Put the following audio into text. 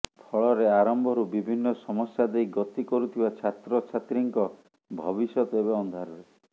ଫଳରେ ଆରମ୍ଭରୁ ବିଭିନ୍ନ ସମସ୍ୟା ଦେଇ ଗତି କରୁଥିବା ଛାତ୍ରଛାତ୍ରୀଙ୍କ ଭବିଷ୍ୟତ ଏବେ ଅନ୍ଧାରେ